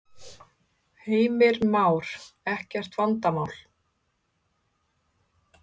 Heimir Már: Ekkert vandamál?